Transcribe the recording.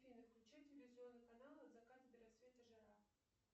афина включи телевизионный канал от заката до рассвета жара